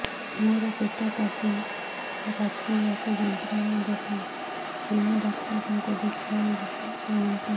ମୋର ପେଟ କାଲି ରାତି ଯାକ ଯନ୍ତ୍ରଣା ଦେଲା କେଉଁ ଡକ୍ଟର ଙ୍କୁ ଦେଖାଇବି କୁହନ୍ତ